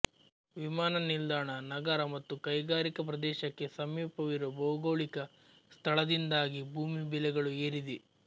ವಿಮಾನ ನಿಲ್ದಾಣ ನಗರ ಮತ್ತು ಕೈಗಾರಿಕಾ ಪ್ರದೇಶಕ್ಕೆ ಸಮೀಪವಿರುವ ಭೌಗೋಳಿಕ ಸ್ಥಳದಿಂದಾಗಿ ಭೂಮಿ ಬೆಲೆಗಳು ಏರಿದೆ